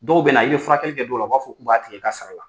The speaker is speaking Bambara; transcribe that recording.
Dɔw bɛ na i bɛ furakɛli kɛ dɔw la u b'a fɔ k'u b'a tigi i ka sara la.